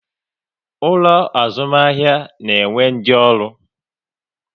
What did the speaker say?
Ulo azumahia na-enwe ndi oru